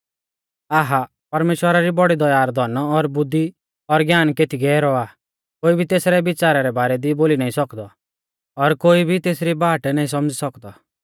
आहा परमेश्‍वरा री बौड़ी दया रौ धन और बुद्धि और ज्ञान केती गैहरौ आ कोई भी तेसरै बिच़ारा रै बारै दी बोली नाईं सौकदौ और कोई भी तेसरी बाट नाईं सौमझ़ी सौकदौ